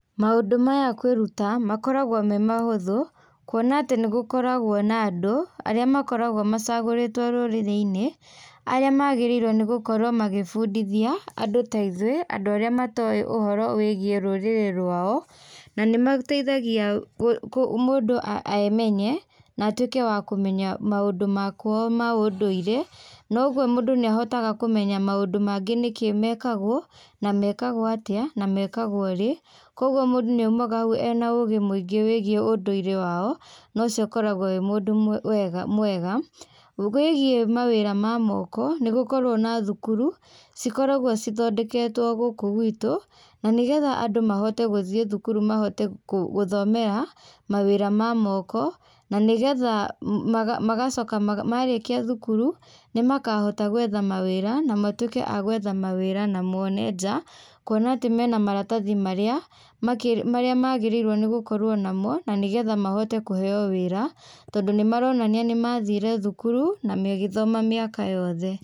Maũndũ maya kwĩruta makoragwo me mahũthũ kuona atĩ nĩ gũkoragwo na andũ arĩa makoragwo macagũrĩtwo rũrĩrĩinĩ aria magĩrĩirwo nĩ gũkorwo makĩbundithia andũ ta ithuĩ andũ arĩa matoe ũhoro wĩgĩe rũrĩrĩ rwao na nĩ mateithagia mũndũ emenye na atuĩke a kũmenya maũndũ ma kwao ma ũndũire noguo mũndũ nĩahotaga kũmenya maũndũ mangĩ nĩkĩĩ mekagwo na mekagwo atĩa mekagwo rĩ koguo mũndũ nĩaumaga hau ena ũgĩ mũingĩ wĩgiĩ ũndũire wao na ũcio ũkoragwo ũrĩ ũndũ mwega. Wĩgie mawĩra ma moko nĩgũkoragwo na cukuru cikoragwo cithondeketwo gũkũ gwĩtũ na nĩgetha andũ mahote gũthie cukuru mahote gũthomera mawĩra ma moko na nĩgetha marĩkia thukuru nĩmakahota gwetha mawĩra na methe mawĩra na mone nja kuona mena maratahi marĩa magĩrĩirwo nĩ gũkorwo namo na nĩgetha mahote kũheo wĩra tondũ nĩmaronania nĩmathire thukuru na magĩthoma mĩaka yothe.